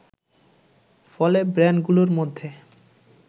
ফলে ব্র্যান্ডগুলোর মধ্যে